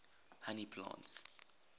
honey plants